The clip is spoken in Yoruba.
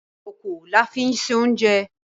Ìkòkò la fí ń se oúnjẹ